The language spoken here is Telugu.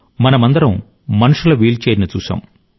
మనమందరం మనుషుల వీల్చైర్ను చూశాం